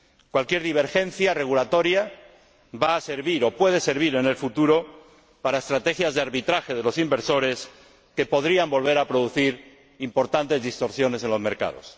Cualquier divergencia regulatoria va a servir o puede servir en el futuro para estrategias de arbitraje de los inversores que podrían volver a producir importantes distorsiones en los mercados.